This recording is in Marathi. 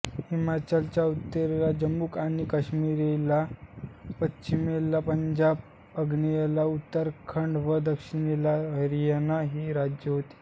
हिमाचलच्या उत्तरेला जम्मू आणि काश्मीर पश्चिमेला पंजाब आग्नेयेला उत्तराखंड व दक्षिणेला हरियाणा ही राज्ये आहेत